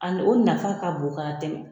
Ani o nafa ka bon ka tɛmɛ